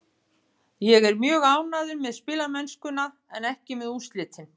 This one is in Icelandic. Ég er mjög ánægður með spilamennskuna en ekki með úrslitin.